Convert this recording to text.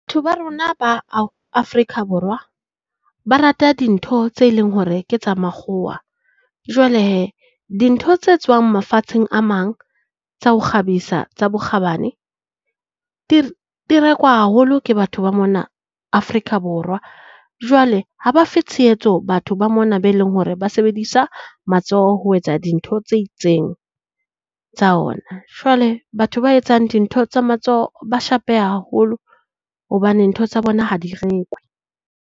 Ba rona ba Afrika Borwa ba rata dintho tse leng hore ke tsa makgowa. Jwale hee, dintho tse tswang mafatsheng a mang tsa ho kgabisa tsa bokgabane di rekwa haholo ke batho ba mona Afrika Borwa. Jwale ha ba fe tshehetso batho ba mona be leng hore ba sebedisa matsoho ho etsa dintho tse itseng tsa ona. Jwale batho ba etsang dintho tsa matsoho ba shapeha haholo hobane ntho tsa bona ha di rekwe.